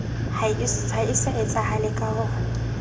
ha se etsahale ka ho